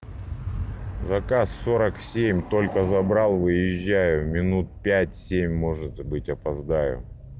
заказ сорок семь только забрал выезжаю минут пять семь может быть опоздаю